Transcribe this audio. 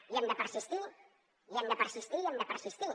hi hem de persistir hi hem de persistir hi hem de persistir